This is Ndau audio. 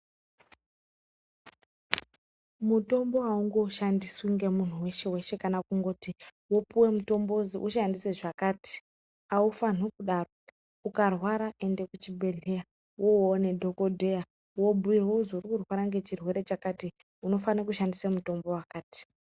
Mutombo awungoshandiswi ngemunhu weshe weshe kana kungoti wopuwe mutombo wozvowushandise zvakati. Awufani kudaro. Ukarwara ende kuchibhedhleya. Wowone dhokodheya , wobuya uzve ukurwara ngechirwere chakati. Unofane kushandise mutombo wakati.